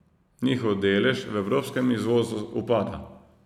Njihov delež v evropskem izvozu upada.